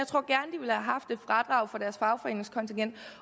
jeg haft et fradrag for deres fagforeningskontingent